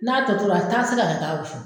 N'a tɔ tɔtora a taa sɛri a ta dun